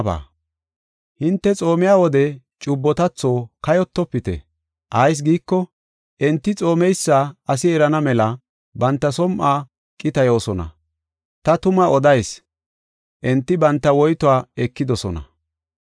“Hinte xoomiya wode cubbotatho kayotofite. Ayis giiko, enti xoomeysa asi erana mela banta som7uwa qitayoosona. Ta tuma odayis; enti banta woytuwa ekidosona.